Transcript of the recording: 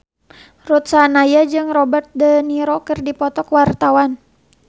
Ruth Sahanaya jeung Robert de Niro keur dipoto ku wartawan